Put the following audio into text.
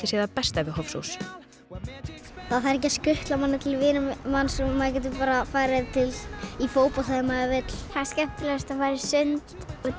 sé það besta við Hofsós það þarf ekki að skutla manni til vina manns og maður getur farið í fótbolta þegar maður vill það er skemmtilegast að fara í sund út